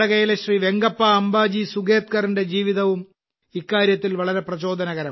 വെങ്കപ്പ അംബാജി സുഗേത്കറിന്റെ ജീവിതവും ഇക്കാര്യത്തിൽ വളരെ പ്രചോദനകരമാണ്